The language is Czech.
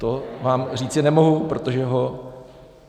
To vám říci nemohu, protože ho...